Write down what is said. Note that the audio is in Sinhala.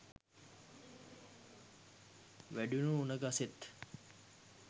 වැඩුණු උණ ගසේත්